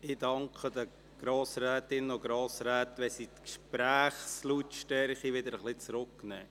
Ich danke den Grossrätinnen und Grossräten, wenn sie die Gesprächslautstärke wieder etwas zurücknehmen.